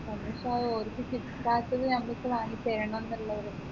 സമയത് ആ ഓരിക്ക് ആക്കിയത് നമ്മൾക്ക് വാങ്ങി തരണെന്നുള്ളത്